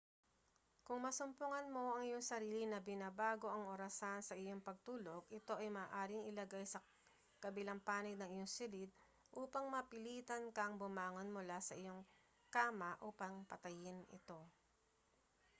kung masumpungan mo ang iyong sarili na binabago ang orasan sa iyong pagtulog ito ay maaaring ilagay sa kabilang panig ng iyong silid upang mapilitan kang bumangon mula sa iyong kama upang patayin ito